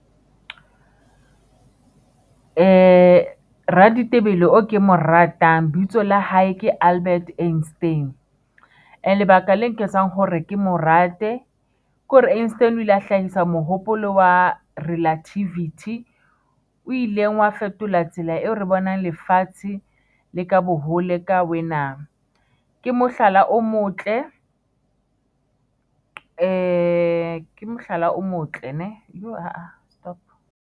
Raditebele e kemo ratang lebitso la hae ke Albert Eisten. Lebaka le nketsang hore ke mo rate, ke hore Instaan o ile a hlahisa mohopolo wa relativity o ileng wa fetola tsela eo re bonang lefatshe le ka bo hole ka wena. Ke mohlala o motle, ke mohlala o motle.